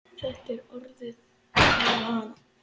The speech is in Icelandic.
Þetta er orðið að vana.